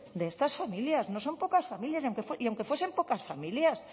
de estas familias no son pocas familias y aunque fuesen pocas familias